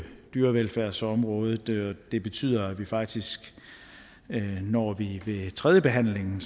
dyrevelfærdsområdet det det betyder at vi faktisk når vi ved tredjebehandlingen